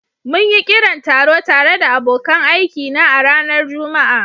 Mun yi kiran taro tare da abokan aikina a ranar Juma'a.